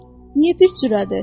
Niyə bir cürədir?